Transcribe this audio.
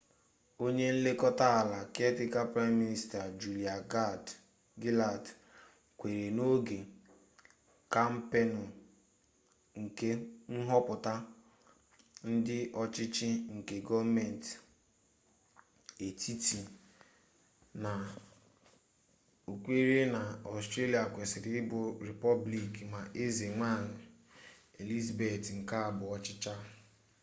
onye nlekota ala caretaker prime minister julia gillard kwuru n’oge kampeenu nke nhoputa ndi ochichi nke goomenti etiti na okwere na australia kwesiri ibu repoblik ma eze nwanyi elizabeth nke abuo chicha